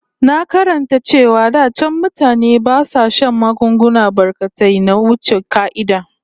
Na karanta cewa da can mutane ba sa shan magunguna barkatai na wuce ƙa'ida